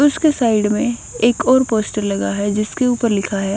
उसके साइड में एक और पोस्टर लगा है जिसके ऊपर लिखा है।